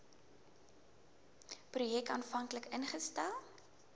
projek aanvanklik ingestel